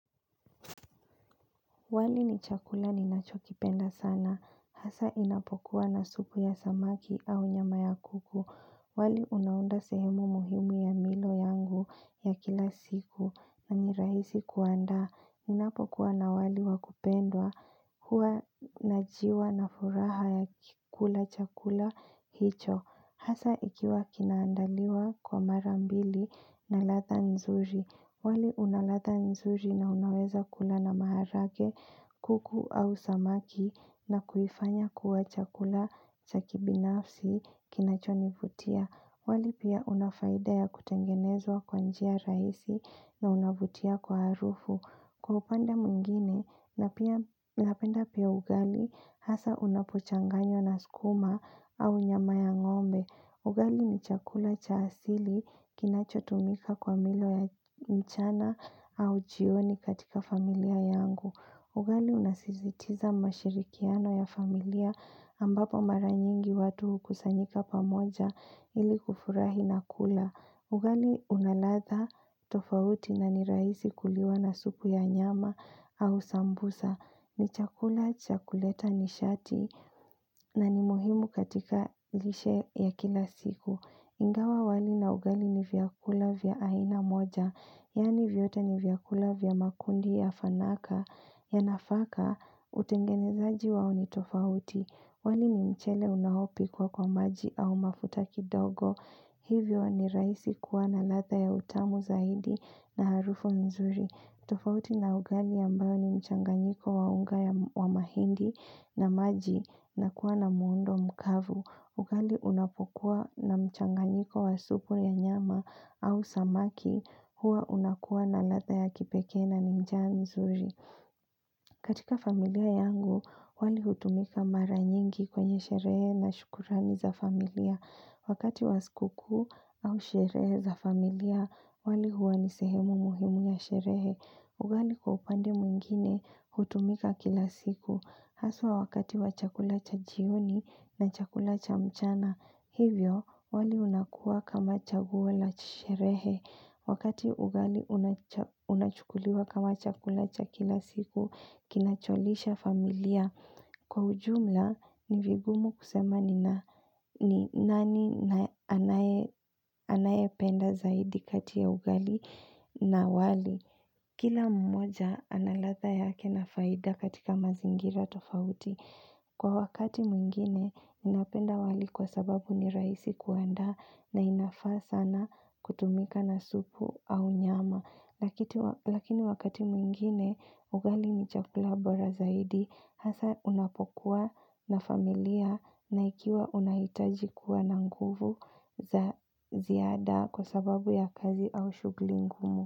Wali ni chakula ni nacho kipenda sana. Hasa inapokuwa na supu ya samaki au nyama ya kuku. Wali unaunda sehemu muhimu ya milo yangu ya kila siku na nirahisi kuandaa. Ninapokuwa na wali wakupendwa, huwa najiwa na furaha ya kikula chakula hicho. Hasa ikiwa kinaandaliwa kwa mara mbili na ladha nzuri. Wali unaladha nzuri na unaweza kula na maharage, kuku au samaki na kuifanya kuwa chakula cha kibinafsi kinacho nivutia. Wali pia unafaida ya kutengenezwa kwa njia rahisi na unavutia kwa harufu. Kwa upande mwingine na pia napenda pia ugali hasa unapo changanywa na skuma au nyama ya ngombe. Ugali ni chakula cha asili kinacho tumika kwa milo ya mchana au jioni katika familia yangu. Ugali unasizitiza mashirikiano ya familia ambapo mara nyingi watu hukusanyika pamoja ili kufurahi na kula. Ugali unaladha tofauti na ni rahisi kuliwa na supu ya nyama au sambusa. Ni chakula, cha kuleta nishati na ni muhimu katika lishe ya kila siku. Ingawa wali na ugali ni vyakula vya aina moja. Yani vyote ni vyakula vya makundi ya fanaka. Ya nafaka, utengenezaji wao ni tofauti. Wali ni mchele unao pikwa kwa maji au mafuta kidogo. Hivyo ni rahisi kuwa na ladha ya utamu zaidi na harufu nzuri. Tofauti na ugali ambayo ni mchanganyiko wa unga wa mahindi na maji na kuwa na muundo mkavu. Ugali unapokuwa na mchanganyiko wa supu ya nyama au samaki huwa unakuwa na ladha ya kipekee na ni njaa nzuri. Katika familia yangu, wali hutumika mara nyingi kwenye sherehe na shukurani za familia. Wakati wa sku kuu au sherehe za familia, wali huwa ni sehemu muhimu ya sherehe. Ugali kwa upande mwingine hutumika kila siku. Haswa wakati wa chakula cha jioni na chakula cha mchana, hivyo wali unakua kama chaguwo la chi sherehe. Wakati ugali unachukuliwa kama chakula cha kila siku, kinacholisha familia. Kwa ujumla, nivigumu kusema ni nani anaye penda zaidi kati ya ugali na wali. Kila mmoja ana ladha yake na faida katika mazingira tofauti. Kwa wakati mwingine, ninapenda wali kwa sababu ni rahisi kuandaa na inafaa sana kutumika na supu au nyama. Lakini wakati mwingine, ugali ni chakula bora zaidi, hasa unapokuwa na familia na ikiwa unahitaji kuwa na nguvu za ziada kwa sababu ya kazi au shugli ngumu.